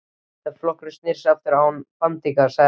Þegar flokkurinn sneri aftur án bandingja, sagði Helga.